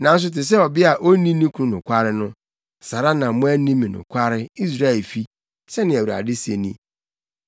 Nanso te sɛ ɔbea a onni ne kunu nokware no, saa ara na moanni me nokware, Israelfi,” sɛnea Awurade se ni.